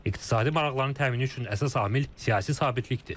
İqtisadi maraqların təmini üçün əsas amil siyasi sabitlikdir.